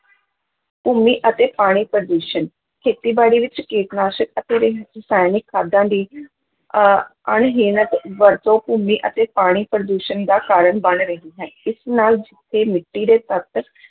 ਭੂਮੀ ਅਤੇ ਪਾਣੀ ਪ੍ਰਦੂਸ਼ਣ, ਖੇਤੀਬਾੜੀ ਵਿੱਚ ਕੀਟਨਾਸ਼ਕ ਅਤੇ ਰ ਰਸਾਇਣਿਕ ਖਾਦਾਂ ਦੀ ਅਹ ਅਣਹੀਣਤ ਵਰਤੋਂ ਭੂਮੀ ਅਤੇ ਪਾਣੀ ਪ੍ਰਦੂਸ਼ਣ ਦਾ ਕਾਰਨ ਬਣ ਰਹੀ ਹੈ, ਇਸ ਨਾਲ ਜਿੱਥੇ ਮਿੱਟੀ ਦੇ ਤੱਤ